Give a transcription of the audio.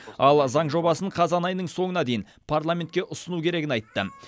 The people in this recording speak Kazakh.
ал заң жобасын қазан айының соңына дейін парламентке ұсыну керегін айттым